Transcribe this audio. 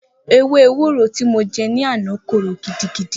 Ewé ewúro tí mo jẹ ní àná korò gidigidi